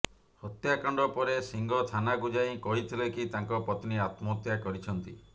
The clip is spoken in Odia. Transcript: ହତ୍ୟାକାଣ୍ଡ ପରେ ସିଂହ ଥାନାକୁ ଯାଇ କହିଥିଲେ କି ତାଙ୍କ ପତ୍ନୀ ଆତ୍ମହତ୍ୟା କରିଛନ୍ତି